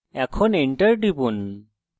এখন enter টিপুন